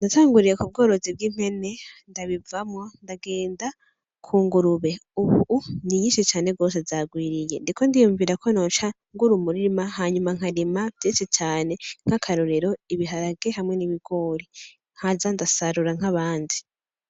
Natanguriye ku bworozi bw'impene ndabivamwo ndagenda ku ngurube, ubu ni nyinshi cane gose zagwiriye ndiko ndiyumvira ko noca ngura umurima hama nkarima vyinshi cane nk'akarorero ibiharage hamwe n'ibigori nkaza ndasarura nk'abandi.